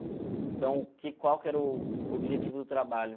Então, que qual que era o objetivo do trabalho?